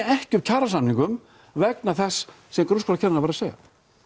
ekki upp kjarasamningum vegna þess sem grunnskólakennari var að segja